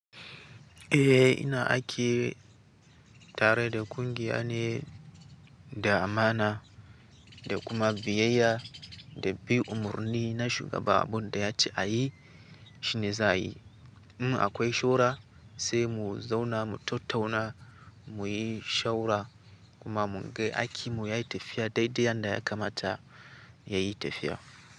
Eh ina aiki tare da kungiya ne, da amana da kuma biyayya da bi umarni na shiga abunda daya ce ayi shine za, ayi. In akwai shura sai mu zauna mu tattauna muyi shawara kuma mun ga aiki muyi ai tafiya dai dai yadda ya kamata yayi tafiya.